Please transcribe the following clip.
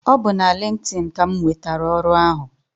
Ọ bu na LinkedIn ka m nwetara ọrụ ahụ.